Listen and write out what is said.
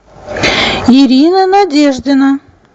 ирина надеждина